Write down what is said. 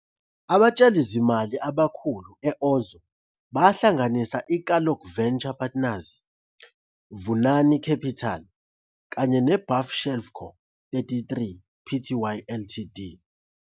Abatshalizimali abakhulu e-Ozow bahlanganisa iKalon Venture Partners, Vunani Capital kanye neBuffshelfco 33, Pty, Ltd.